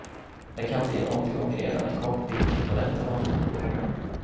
Det kan bli en återgång redan en kort bit in på detta år.